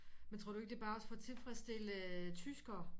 Men tror ikke det bare også for at tilfredsstille tyskere